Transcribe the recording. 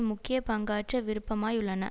முக்கிய பங்காற்ற விருப்பமாய் உள்ளன